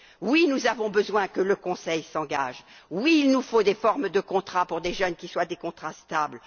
Oui, nous avons besoin que le Conseil s'engage. Oui, il nous faut des formes de contrat pour les jeunes qui soient des contrats stables.